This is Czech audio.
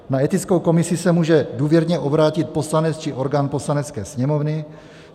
Na etickou komisi se může důvěrně obrátit poslanec či orgán Poslanecké sněmovny.